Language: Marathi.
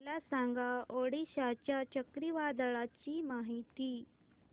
मला सांगा ओडिशा च्या चक्रीवादळाची माहिती